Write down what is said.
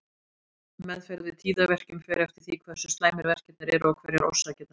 Meðferð við tíðaverkjum fer eftir því hversu slæmir verkirnir eru og hverjar orsakirnar eru.